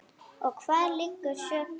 Og hvar liggur sökin?